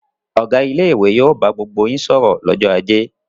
Ọ̀gá ilé-ìwé yóò bá gbogbo yín sọ̀rọ̀ lọ́jọ́ ajé!